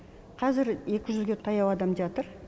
қазір екі жүзге таяу адам жатыр